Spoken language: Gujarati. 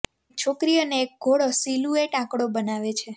એક છોકરી અને એક ઘોડો સિલુએટ આંકડો બનાવે છે